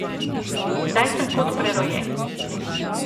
Zdaj sem kot prerojen.